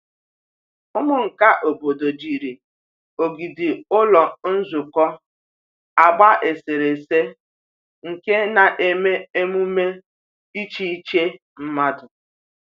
Ụmụ nka obodo jiri ogidi ụlọ nzukọ agba eserese nke na-eme emume iche iche mmadụ.